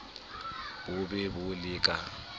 bo be bo le ka